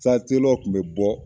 Satelɔru kun be bɔ